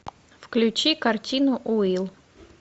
включи картину уилл